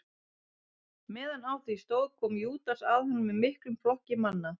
Meðan á því stóð kom Júdas að honum með miklum flokki manna.